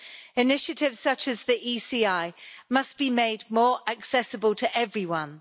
Initiatives such as the ECI must be made more accessible to everyone.